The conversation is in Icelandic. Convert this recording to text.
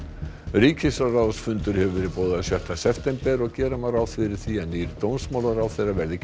ríkisráðsfundur hefur verið boðaður sjötta september og gera má ráð fyrir því að nýr dómsmálaráðherra verði